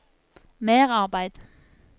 merarbeid